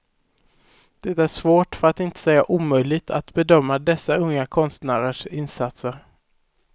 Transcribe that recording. Det är svårt, för att inte säga omöjligt, att bedöma dessa unga konstnärers insatser.